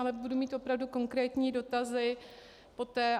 Ale budu mít opravdu konkrétní dotazy poté.